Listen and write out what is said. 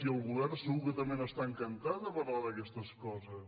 i el govern segur que també n’està encantat de parlar d’aquestes coses